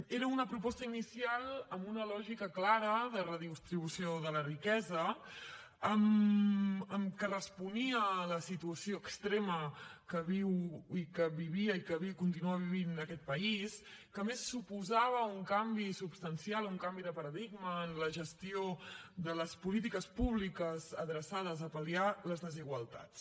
era una proposta inicial amb una lògica clara de redistribució de la riquesa que responia a la situació extrema que viu que vivia i que continua vivint aquest país que a més suposava un canvi substancial un canvi de paradigma en la gestió de les polítiques públiques adreçades a pal·liar les desigualtats